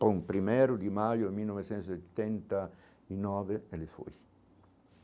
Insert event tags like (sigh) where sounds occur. Bom, primeiro de maio de mil novecentos e (unintelligible) e nove ele foi.